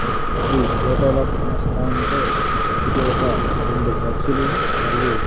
ఈ ఫోటోలో కానొస్తాంటే ఇది ఒక రెండు బస్సులు మరియు--